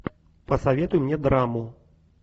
посоветуй мне драму